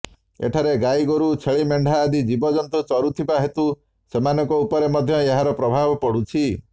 ଏଠାରେ ଗାଈଗୋରୁ ଛେଳି ମେଣ୍ଢା ଆଦି ଜୀବଜନ୍ତୁ ଚରୁଥିବା ହେତୁ ସେମାନଙ୍କ ଉପରେ ମଧ୍ୟ ଏହାର ପ୍ରଭାବ ପଡ଼ୁଛି